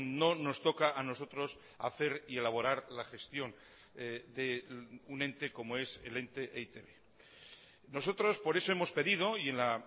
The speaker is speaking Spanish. no nos toca a nosotros hacer y elaborar la gestión de un ente como es el ente e i te be nosotros por eso hemos pedido y en la